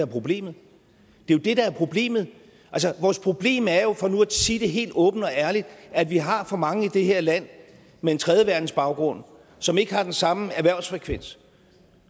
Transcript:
problemet det er jo det der er problemet altså vores problem er jo for nu at sige det helt åbent og ærligt at vi har for mange i det her land med en tredjeverdensbaggrund som ikke har den samme erhvervsfrekvens